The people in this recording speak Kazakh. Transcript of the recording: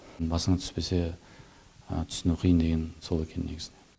басыңа түспесе түсіну қиын деген сол екен негізінде